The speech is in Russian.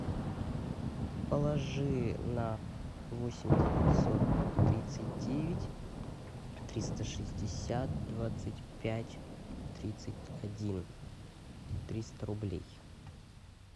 положи на восемь девятьсот тридцать девять триста шестьдесят двадцать пять тридцать один триста рублей